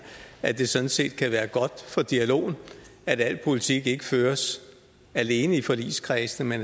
at det sådan set kan være godt for dialogen at al politik ikke føres alene i forligskredsene men